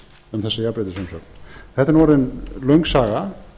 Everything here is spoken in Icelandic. um þessi jafnrétti sem sagt þetta er orðin löng saga